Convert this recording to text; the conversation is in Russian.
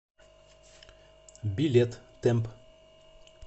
билет темп